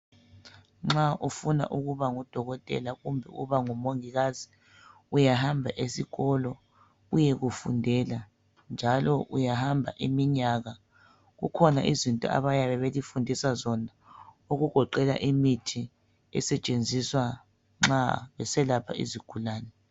Nxa ufuna kuba nguDokotela kumbe ukuba ngumongikazi uyahamba esikolo uyekufundela, njalo uyahamba iminyaka kukhona izinto abayabe belifundisa zona okugoqela imithi esetshenziswa nxa beselapha izigulane.